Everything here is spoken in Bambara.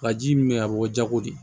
Ka ji min bɛ a bɛ bɔ jago de